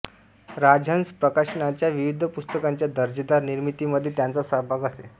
राजहंस प्रकाशनच्या विविध पुस्तकांच्या दर्जेदार निर्मितीमध्ये त्यांचा सहभाग असे